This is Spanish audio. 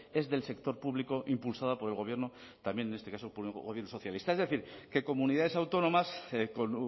es del sector público impulsada por el gobierno también en este caso por un gobierno socialista es decir que comunidades autónomas con